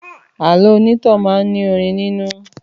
Àlọ́ onítàn máa ní orin nínú